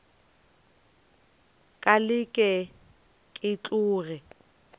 ka leke ke tloge ke